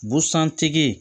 Busan tigi